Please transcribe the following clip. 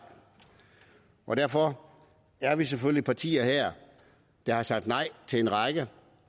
og derfor er vi selvfølgelig nogle partier her der har sagt nej til en række